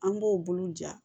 An b'o bolo ja